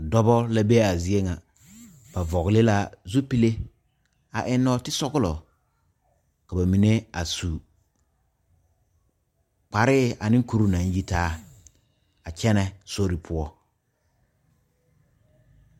Dɔɔba la be a zie ŋa ba vɔgle lɛ zupele a eŋ nɔɔti sɔglo ka ba mine a su kparɛ ane kur naŋ yitaa a kyɛne sori poɔ.